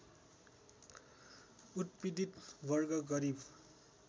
उत्पीडित वर्ग गरिब